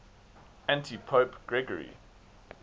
antipope gregory